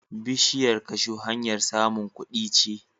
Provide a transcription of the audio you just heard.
Bishiyar kashu hanyar samun kudi ce.